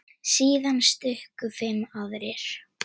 Síðan stukku fimm aðrir.